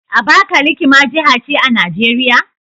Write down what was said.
Abakaliki ma jiha ce a Najeriya?